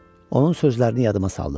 Onun sözlərini yadıma saldım.